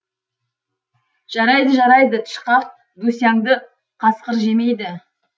жарайды жарайды тышқақ дусяңды қасқыр жемейді